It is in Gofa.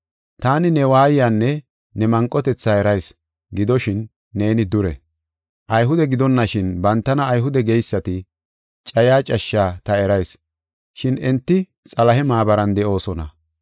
Taani ne waayanne ne manqotetha erayis; gidoshin neeni dure. Ayhude gidonashin bantana Ayhude geysati cayiya cashshaa ta erayis, shin enti Xalahe maabaran de7oosona.